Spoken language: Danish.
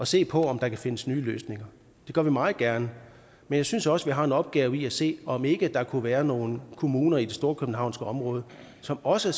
se på om der kan findes nye løsninger det gør vi meget gerne men jeg synes også vi har en opgave i at se på om ikke der kunne være nogle kommuner i det storkøbenhavnske område som også